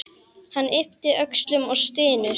Hann ypptir öxlum og stynur.